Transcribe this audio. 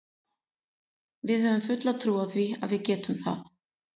Við höfum fulla trú á því að við getum það.